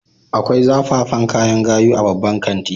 Akwai zafafan kayan gayu a babban kanti